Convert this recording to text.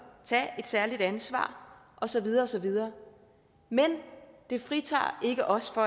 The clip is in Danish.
tage et særligt ansvar og så videre og så videre men det fritager ikke os for